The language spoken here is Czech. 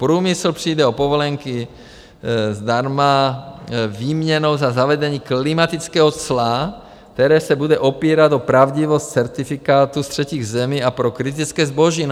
Průmysl přijde o povolenky zdarma výměnou za zavedení klimatického cla, které se bude opírat o pravdivost certifikátu z třetích zemí a pro kritické zboží.